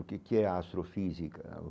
O que que é a astrofísica?